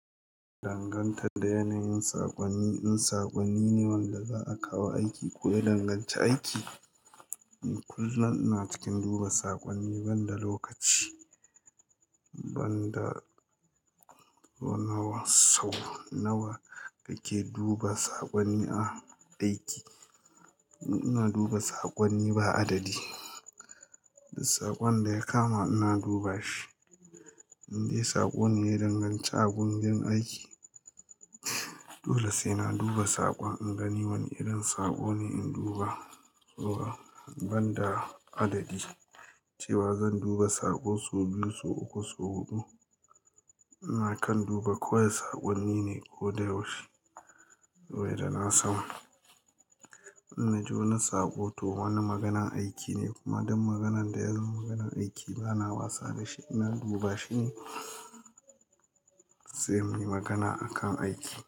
Danganta da yanayin saƙonni, in saƙonni ne wanda za a kawo aiki ko ya danganci aiki, ni kullum ina cikin duba saƙonni ban da lokaci. Ban da sau nawa kake duba saƙonni a aiki. Ina duba saƙonni ba adadi. Duk saƙon da ya kama ina duba shi. Indai saƙo ne ya danganci a gunbin aiki, dole sai na duba saƙon in gani wane irin saƙo ne in duba. To ban da adadi cewa zan duba saƙo sau biyu, sau uku, sau huɗu. Ina kan duba kawai saƙonni ne ko da yaushe. Wainda na san in naji wani saƙo to wani maganan aiki ne kuma duk maganan da yazo maganan aiki bana wasa da shi. Ina duba shi ne. Sai muyi magana akan aiki.